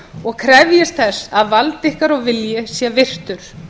og krefjist þess að vald ykkar og vilji sé virtur